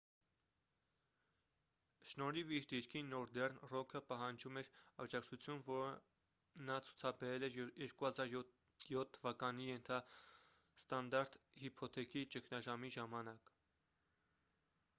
շնորհիվ իր դիրքի նորդեռն ռոքը պահանջում էր աջակացություն որը նա ցուցաբերել էր 2007 թվականի ենթաստանդարտ հիփոթեքի ճգնաժամի ժամանակ